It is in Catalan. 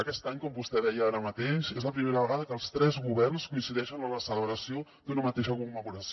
aquest any com vostè deia ara mateix és la primera vegada que els tres governs coincideixen en la celebració d’una mateixa commemoració